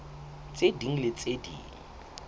tse ding le tse ding